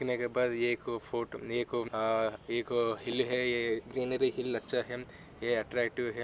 कहने के बाद ये एक फोटो एक आ एक हिल है ये हिल अच्छा हिम ये अट्ट्रकटिव है।